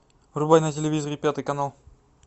врубай на телевизоре пятый канал